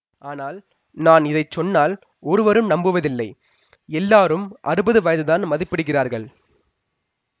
ஆனால் நான் இதை சொன்னால் ஒருவரும் நம்புவதில்லை எல்லாரும் அறுபது வயதுதான் மதிப்பிடுகிறார்கள்